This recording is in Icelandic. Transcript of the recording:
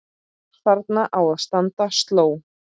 Þarna á að standa sló.